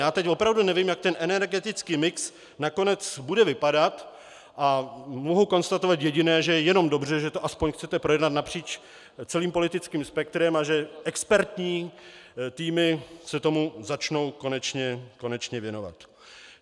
Já teď opravdu nevím, jak ten energetický mix nakonec bude vypadat, a mohu konstatovat jediné - že je jenom dobře, že to aspoň chcete projednat napříč celý politickým spektrem a že expertní týmy se tomu začnou konečně věnovat.